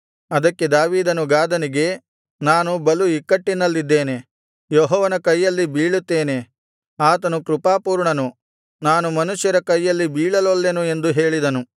ಅದಕ್ಕೆ ದಾವೀದನು ಗಾದನಿಗೆ ನಾನು ಬಲು ಇಕ್ಕಟ್ಟಿನಲ್ಲಿದ್ದೇನೆ ಯೆಹೋವನ ಕೈಯಲ್ಲಿ ಬೀಳುತ್ತೇನೆ ಆತನು ಕೃಪಾಪೂರ್ಣನು ನಾನು ಮನುಷ್ಯರ ಕೈಯಲ್ಲಿ ಬೀಳಲೊಲ್ಲೆನು ಎಂದು ಹೇಳಿದನು